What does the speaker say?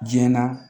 Jɛna